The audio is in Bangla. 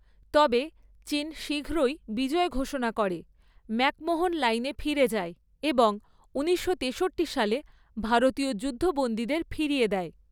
তবে, চীন শীঘ্রই বিজয় ঘোষণা করে, ম্যাকমোহন লাইনে ফিরে যায় এবং ঊনিশশো তেষট্টি সালে ভারতীয় যুদ্ধবন্দীদের ফিরিয়ে দেয়।